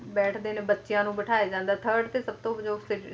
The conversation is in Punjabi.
ਬੈਠਦੇ ਨੇ ਬੱਚਿਆਂ ਨੂੰ ਬਿਠਾਇਆ ਜਾਂਦਾ ਤੇ ਥਰਡ ਤੇ ਸਭਤੋਂ ਫਿੱਟ